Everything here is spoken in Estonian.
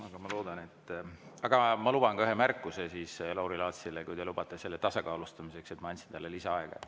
Aga ma luban endale ka ühe märkuse Lauri Laatsile, kui te lubate selle tasakaalustamiseks, et ma andsin talle lisaaega.